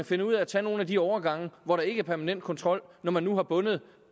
finder ud af at tage nogle af de overgange hvor der ikke er permanent kontrol når man nu har bundet